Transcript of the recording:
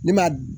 Ne ma